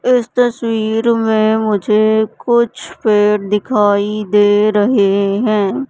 इस तस्वीर में मुझे कुछ पेड़ दिखाई दे रहे हैं।